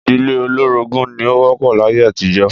Ìdílé olórogún ni ó wó̩p̩ò̩ láyé àtijó̩